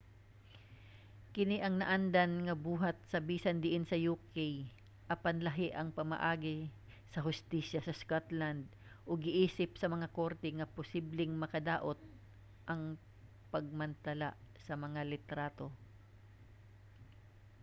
kini ang naandan nga buhat sa bisan diin sa uk apan lahi ang pamaagi sa hustisya sa scotland ug giisip sa mga korte nga posibleng makadaot ang pagmantala sa mga litrato